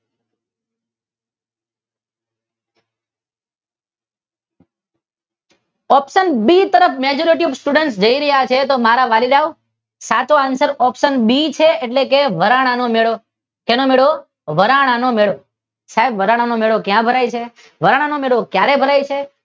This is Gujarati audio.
ઓપ્શન બી તરફ મેજોરીટી સ્ટુડન્ટ જય રહ્યા છે. તો મારા વાલીડાઓ સાચો આન્સર ઓપ્શન બી છે એટલે કે વરાણાનો મેળો. શેનો મેળો? વરાણાનો મેળો. સાહેબ વરાણાનો મેળો ક્યાં ભરાય છે? વરાણાનો મેળો ક્યારે ભરાય છે?